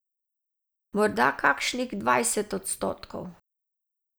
Morda kakšnih dvajset odstotkov.